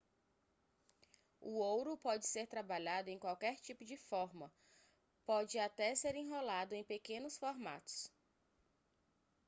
o ouro pode ser trabalhado em qualquer tipo de forma pode até ser enrolado em pequenos formatos